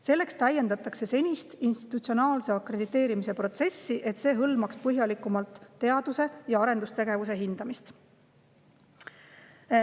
Selleks täiendatakse senist institutsionaalse akrediteerimise protsessi, et see hõlmaks põhjalikumalt teadus- ja arendustegevuse hindamist.